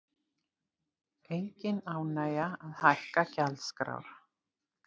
Engin ánægja að hækka gjaldskrár